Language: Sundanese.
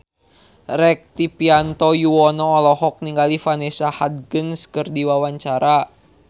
Rektivianto Yoewono olohok ningali Vanessa Hudgens keur diwawancara